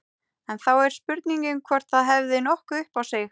En þá er spurningin hvort það hefði nokkuð upp á sig.